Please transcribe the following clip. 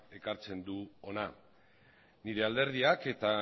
ekartzen du hona nire alderdiak eta